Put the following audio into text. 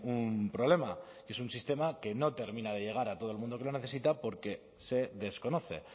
un problema que es un sistema que no termina de llegar a todo el mundo que lo necesita porque se desconoce